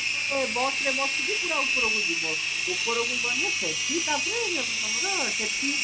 busରେ ବସିକି ପୁରା ଉପରକୁ ଯିବ ଉପରକୁ ଗଲେ ସେଠି ତାପରେ ତମର ସେଠି